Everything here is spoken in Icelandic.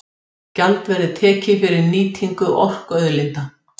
Gjald verði tekið fyrir nýtingu orkuauðlinda